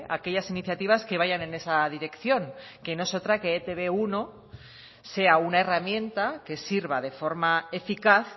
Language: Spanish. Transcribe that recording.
aquellas iniciativas que vayan en esa dirección que no es otra que etb uno sea una herramienta que sirva de forma eficaz